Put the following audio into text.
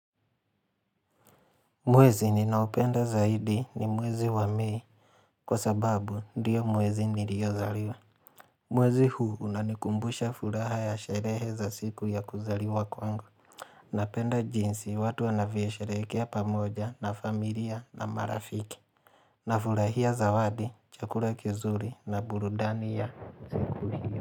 Mwezi ninaopenda zaidi ni mwezi wa mei, kwa sababu ndiyo mwezi niliozaliwa. Mwezi huu unanikumbusha furaha ya sherehe za siku ya kuzaliwa kwangu. Napenda jinsi watu wanavyosherekea pamoja na familia na marafiki. Na furahia zawadi, chakula kizuri na burudani ya siku.